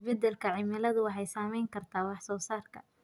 Isbeddelka cimiladu waxay saameyn kartaa wax soo saarka.